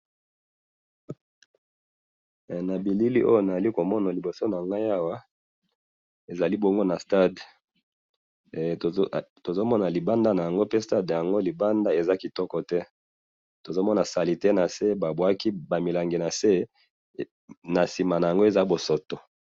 na bilili oyo na zali komona na liboso nanga awa ezali bongo na stade tuzomono libanda nango pe stade yango libanda eza kitoko te tozo mona na salette na se ba bwaki ba milangi na se nasima nango eza bosoto